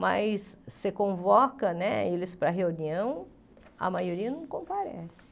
Mas você convoca né eles para reunião, a maioria não comparece.